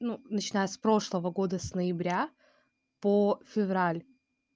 ну начиная с прошлого года с ноября по февраль